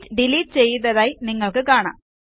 sheet delete ചെയ്തതായി നിങ്ങൾക്ക് കാണാം